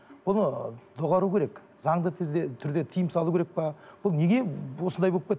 бұны доғару керек заңды түрде тиым салу керек пе бұл неге осындай болып